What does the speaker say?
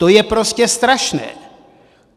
To je prostě strašné.